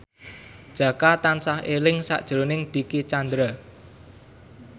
Jaka tansah eling sakjroning Dicky Chandra